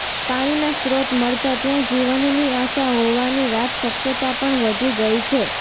પાણીના સ્ત્રોત મળતા ત્યાં જીવનની આશા હોવાની વાત શક્યતા પણ વધી ગઇ છે